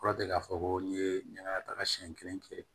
Kɔrɔ tɛ k'a fɔ ko n'i ye nɛnɛ taga siɲɛ kelen kɛ